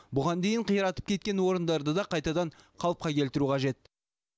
бұған дейін қиратып кеткен орындарды да қайтадан қалыпқа келтіру қажет